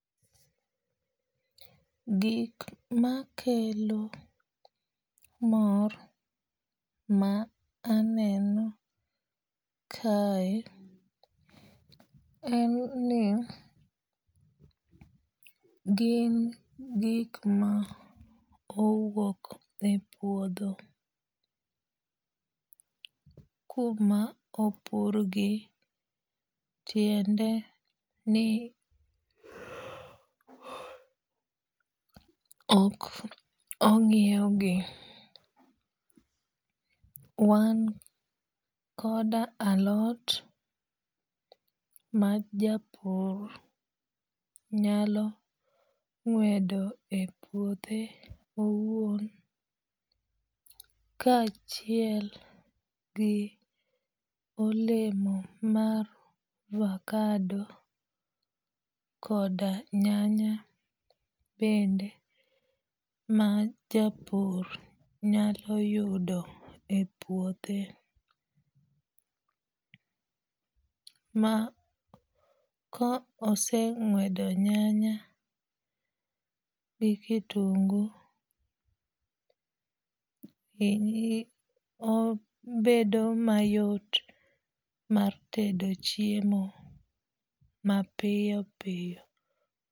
Gik makelo mor ma aneno kae en ni gin gik ma owuok e puodho kuma opur gi tiende ni ok ong'iew gi. Wan koda alot ma japur nyalo ng'wedo e puothe owuon ka achiel gi olemo mar avacado koda nyanya bende ma japur nyalo yudo e puothe. Ma koseng'wedo nyanya gi kitungu obedo mayot mar tedo chiemo mapiyo piyo.